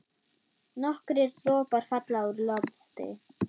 Nokkrir dropar falla úr lofti.